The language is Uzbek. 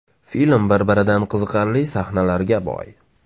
Film bir-biridan qiziqarli sahnalarga boy.